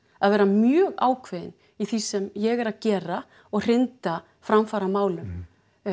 að vera mjög ákveðin í því sem ég er að gera og hrinda framfaramálum